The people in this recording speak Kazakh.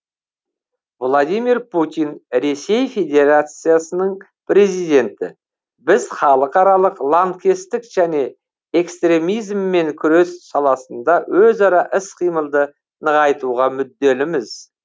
владимир путин ресей федерациясының президенті біз халықаралық лаңкестік және экстремизммен күрес саласында өзара іс қимылды нығайтуға мүдделіміз